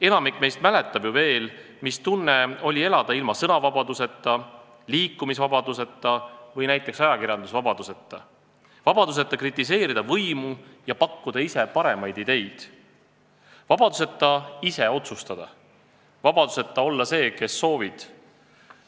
Enamik meist mäletab ju veel, mis tunne oli elada ilma sõnavabaduseta, liikumisvabaduseta või näiteks ajakirjandusvabaduseta – vabaduseta kritiseerida võimu ja pakkuda ise paremaid ideid, vabaduseta ise otsustada, vabaduseta olla see, kes soovid.